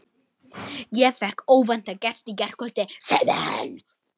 Ég fékk óvæntan gest í gærkvöldi, sagði hann.